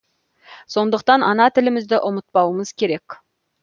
сондықтан ана тілімізді ұмытпауымыз керек